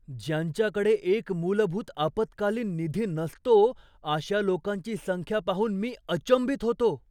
ज्यांच्याकडे एक मूलभूत आपत्कालीन निधी नसतो, अशा लोकांची संख्या पाहून मी अचंबित होतो.